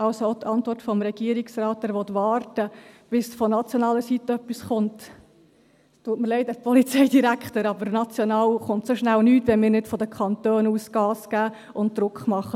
Also auch die Antwort des Regierungsrates, er wolle warten, bis von nationaler Seite etwas komme: Es tut mir leid, Herr Polizeidirektor, aber national kommt so schnell nichts, wenn wir nicht von den Kantonen aus Gas geben und Druck machen.